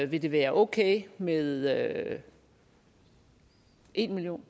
vil det være okay med en million